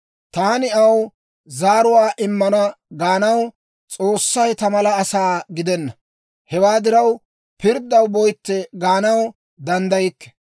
Taani aw zaaruwaa immana gaanaw, S'oossay ta mala asaa gidenna. Hewaa diraw pirddaw boytte gaanaw danddaykke.